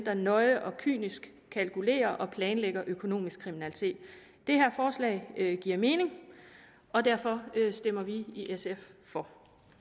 og nøje og kynisk kalkulerer og planlægger økonomisk kriminalitet det her forslag giver mening og derfor stemmer vi i sf for